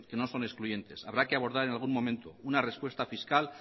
no son excluyentes habrá que abordar en algún momento una respuesta fiscal